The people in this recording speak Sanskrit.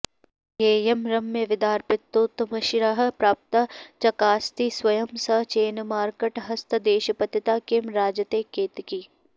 येयं रम्यविदर्पितोत्तमशिरः प्राप्ता चकास्ति स्वयं सा चेन्मर्कटहस्तदेशपतिता किं राजते केतकी